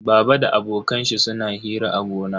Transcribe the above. Baba da abokan shi suna hira a gona.